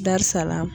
Darisala